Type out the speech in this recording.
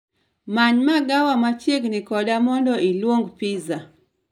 Many magawa machiegni koda mondo iluong pizza